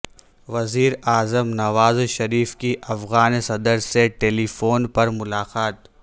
وزیر اعظم نواز شریف کی افغان صدر سے ٹیلی فون پر ملاقات